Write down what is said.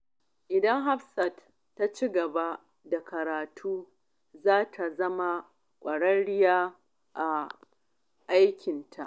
Idan Hafsat ta ci gaba da karatu, za ta zama ƙwararriya a aikinta.